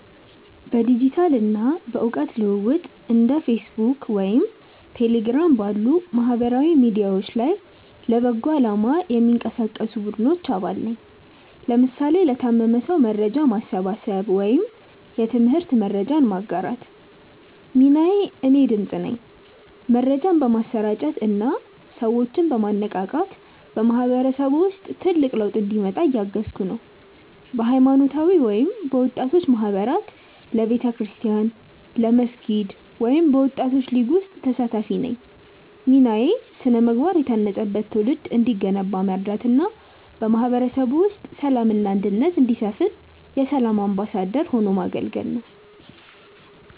በዲጂታል እና በእውቀት ልውውጥ እንደ ፌስቡክ ወይም ቴሌግራም ባሉ ማህበራዊ ሚዲያዎች ላይ ለበጎ አላማ የሚንቀሳቀሱ ቡድኖች አባል ነኝ (ለምሳሌ ለታመመ ሰው መርጃ ማሰባሰብ ወይም የትምህርት መረጃ ማጋራት) ሚናዬ እኔ "ድምፅ" ነኝ። መረጃን በማሰራጨት እና ሰዎችን በማነቃቃት በማህበረሰቡ ውስጥ ትልቅ ለውጥ እንዲመጣ እያገዝኩ ነው። በሃይማኖታዊ ወይም በወጣቶች ማህበራት በቤተክርስቲያን፣ በመስጊድ ወይም በወጣቶች ሊግ ውስጥ ተሳታፊ ነኝ ሚናዬ ስነ-ምግባር የታነጸበት ትውልድ እንዲገነባ መርዳት እና በማህበረሰቡ ውስጥ ሰላም እና አንድነት እንዲሰፍን የ"ሰላም አምባሳደር" ሆኖ ማገልገል ነው